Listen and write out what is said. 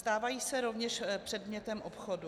Stávají se rovněž předmětem obchodu.